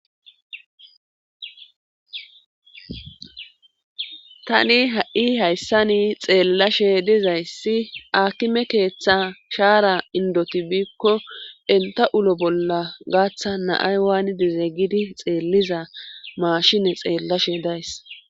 Tani ha'i hayssani xeellashe dizayssi akime keeththa shaara indotibiikko enta ulo bolla gaaththa na'ay waani dizeeggidi xeelliza maashine xeellashe days